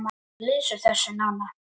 Hún lýsir þessu nánar.